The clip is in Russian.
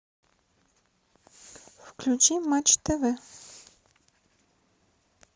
включи матч тв